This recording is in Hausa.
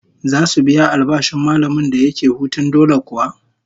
Zasu biya albashin mallamin da yake hutun dole kuwa?